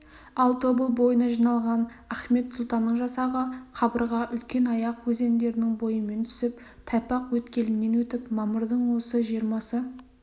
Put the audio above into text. ал тобыл бойына жиналған ахмет сұлтанның жасағы қабырға үлкенаяқ өзендерінің бойымен түсіп тайпақ өткелінен өтіп мамырдың осы жиырмасы